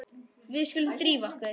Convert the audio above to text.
Við skulum drífa okkur.